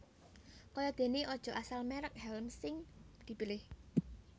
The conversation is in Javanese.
Kaya dene aja asal merek hèlm sing dipilih